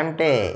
అంటే--